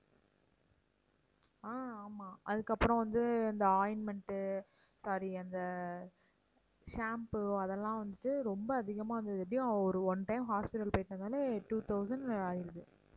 ஆஹ் ஆமாம் அதுக்கப்புறம் வந்து இந்த ointment sorry அந்த shampoo அதெல்லாம் வந்துட்டு ரொம்ப அதிகமா இருந்தது எப்படியும் ஒரு one time hospital போயிட்டு வந்தாலே two thousand ஆயிடுது